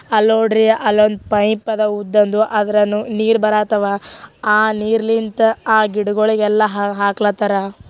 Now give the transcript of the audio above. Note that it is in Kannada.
ಅಲ್ಲೋಡಿರಿ ಅಲ್ಲೊಂದ್ ಪೈಪ್ ಅದ ಉದ್ದಂದು ಅದ್ರನು ನೀರ್ ಬರತಾವ ಆ ನೀರ್ಲಿನ್ಥ ಆ ಗಿಡಗಳಿಗೆಲ್ಲ ಆಹ್ ಹಾಕ್ಲಥಾರ.